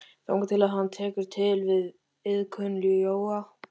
Þangað til að hann tekur til við iðkun jóga.